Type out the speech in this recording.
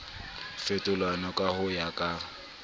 fetolwang ka ho ya ka